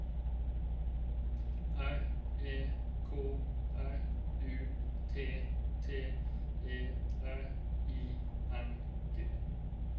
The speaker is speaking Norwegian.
R E K R U T T E R I N G